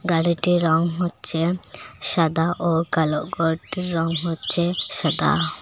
গাড়িটির রঙ হচ্ছে সাদা ও কালো গরটির রঙ হচ্ছে সাদা।